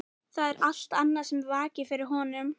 Það er allt annað sem vakir fyrir honum.